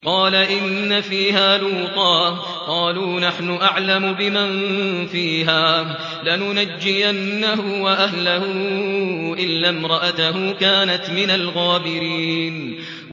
قَالَ إِنَّ فِيهَا لُوطًا ۚ قَالُوا نَحْنُ أَعْلَمُ بِمَن فِيهَا ۖ لَنُنَجِّيَنَّهُ وَأَهْلَهُ إِلَّا امْرَأَتَهُ كَانَتْ مِنَ الْغَابِرِينَ